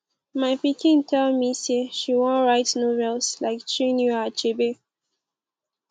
my pikin tell me say she wan write novels like chinua achebe